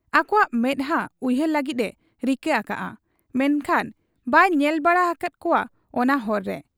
ᱟᱠᱚᱣᱟᱜ ᱢᱮᱫᱦᱟ ᱩᱭᱦᱟᱹᱨ ᱞᱟᱹᱜᱤᱫ ᱮ ᱨᱤᱠᱟᱹ ᱟᱠᱟᱜ ᱟ, ᱢᱮᱱᱠᱷᱟᱱ ᱵᱟᱭ ᱧᱮᱞ ᱵᱟᱲᱟ ᱟᱠᱟᱫ ᱠᱚᱣᱟ ᱚᱱᱟ ᱦᱚᱨ ᱨᱮ ᱾